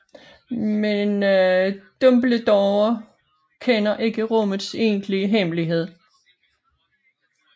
Men Dumbledore kender ikke rummets egentligt hemmelighed